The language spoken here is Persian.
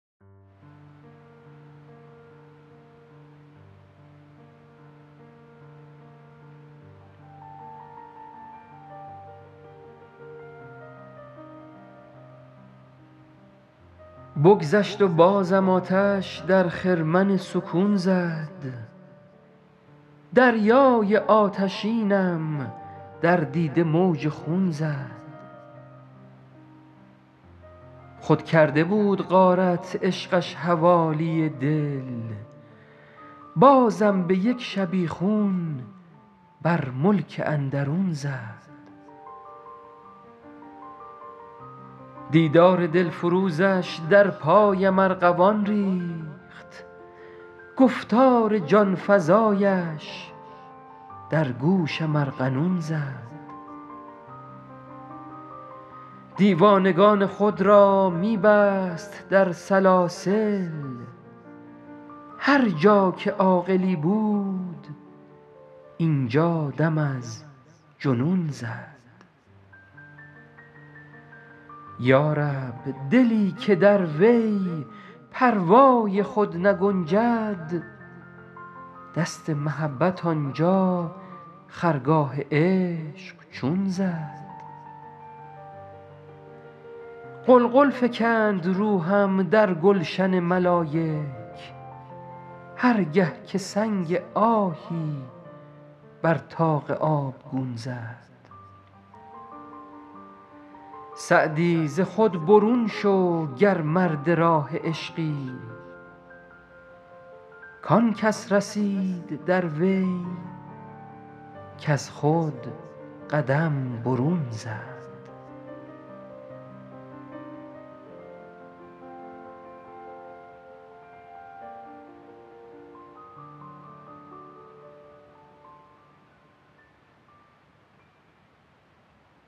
بگذشت و بازم آتش در خرمن سکون زد دریای آتشینم در دیده موج خون زد خود کرده بود غارت عشقش حوالی دل بازم به یک شبیخون بر ملک اندرون زد دیدار دلفروزش در پایم ارغوان ریخت گفتار جان فزایش در گوشم ارغنون زد دیوانگان خود را می بست در سلاسل هر جا که عاقلی بود اینجا دم از جنون زد یا رب دلی که در وی پروای خود نگنجد دست محبت آنجا خرگاه عشق چون زد غلغل فکند روحم در گلشن ملایک هر گه که سنگ آهی بر طاق آبگون زد سعدی ز خود برون شو گر مرد راه عشقی کان کس رسید در وی کز خود قدم برون زد